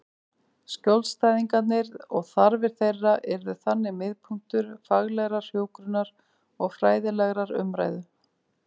Skjólstæðingarnir og þarfir þeirra yrðu þannig miðpunktur faglegrar hjúkrunar og fræðilegrar umræðu.